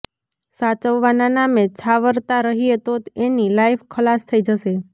સાચવવાના નામે છાવરતા રહીએ તો એની લાઈફ ખલાસ થઈ જશે